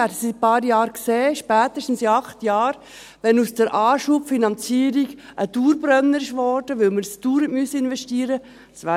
Wir werden es in ein paar Jahren sehen, spätestens in acht Jahren, wenn aus der Anschubfinanzierung ein Dauerbrenner geworden ist, weil wir dies dauernd investieren müssen.